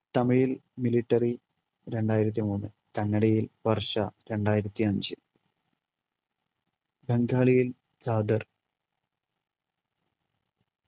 തമിഴിൽ military രണ്ടായിരത്തിമൂന്ന്‌ കന്നടയിൽ വർഷ രണ്ടായിരത്തിഅഞ്ച് ബംഗാളിയിൽ